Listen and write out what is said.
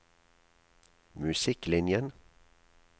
musikklinjen